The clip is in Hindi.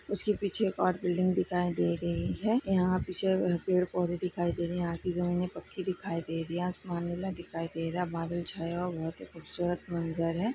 उसके पीछे एक और बिल्डिंग दिखाई दे रही है यहाँ पीछे पेड़ पोधे दिखाई दे रहे है यहाँ की जमीने पक्की दिखाई दे रही हैआसमान नीला दिखाई दे रहा है बादल छाया हुआ खूबसूरत मंजर है।